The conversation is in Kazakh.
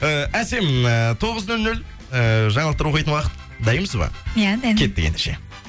ііі әсем ііі тоғыз нөл нөл ііі жаңалықтар оқитын уақыт дайынбыз ба иә дайынмын кеттік ендеше